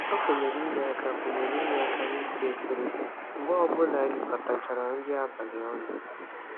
O kwenyere inye aka kwenyere inye aka n'ịsa efere mgbe onye ọbụla rikọtachara nri abalị ọnụ.